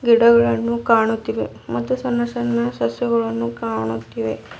ಗಿಡಗಳನ್ನು ಕಾಣುತ್ತಿವೆ ಮತ್ತು ಸಣ್ಣ ಸಣ್ಣ ಸಸ್ಯಗಳನ್ನು ಕಾಣುತ್ತಿವೆ.